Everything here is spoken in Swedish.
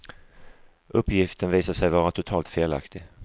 Uppgiften visade sig vara totalt felaktigt.